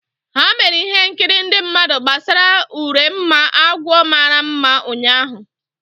Ha mere ihe nkiri ndị mmadụ gbasara Urenma agwọ mara mma ụnyahụ.